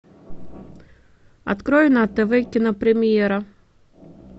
открой на тв кинопремьера